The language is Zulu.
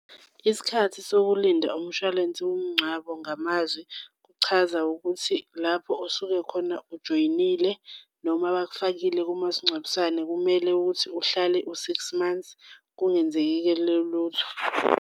Isikhathi sokulinda umshwalense womngcwabo ngamazwi kuchaza ukuthi lapho osuke khona ujoyinile noma bakufakile kumasingcwabisane, kumele ukuthi uhlale u-six months kungenzekile lutho.